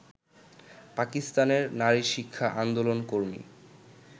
পাকিস্তানের নারীশিক্ষা আন্দোলনকর্মী